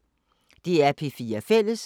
DR P4 Fælles